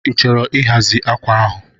Ị chọrọ ịhazi akwa ahụ?